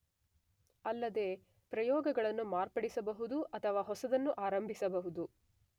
ಅಲ್ಲದೇ ಪ್ರಯೋಗಗಳನ್ನು ಮಾರ್ಪಡಿಸಬಹುದು ಅಥವಾ ಹೊಸದನ್ನು ಆರಂಭಿಸಬಹುದು.